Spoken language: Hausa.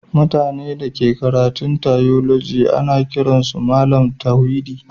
Mutane da ke karatun tiyoloji ana kiran su Mallam tauhidi